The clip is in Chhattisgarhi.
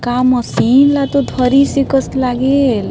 का मशीन ल तो धरिस हे कस लागेल --